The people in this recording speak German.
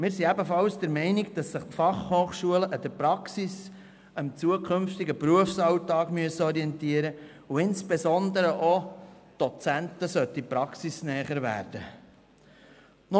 Wir sind ebenfalls der Meinung, dass sich die FH an der Praxis, am zukünftigen Berufsalltag orientieren müssen und insbesondere die Dozenten praxisnäher sein sollten.